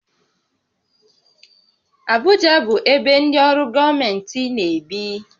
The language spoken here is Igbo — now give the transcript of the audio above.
Abụja bụ ebe ndị ọrụ gọọmentị na-ebi